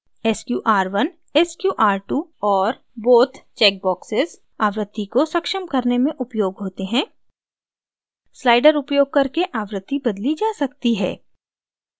sqr1 sqr2 और both check boxes आवृत्ति को सक्षम करने में उपयोग होते हैं slider उपयोग करके आवृत्ति बदली जा सकती है